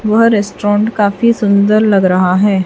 वह रेस्टोरेंट काफी सुंदर लग रहा है।